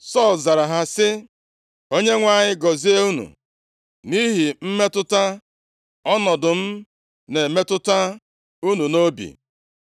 Sọl zara ha sị, “ Onyenwe anyị gọzie unu nʼihi mmetụta ọnọdụ m na-emetụta unu nʼobi.